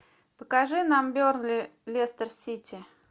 покажи нам бернли лестер сити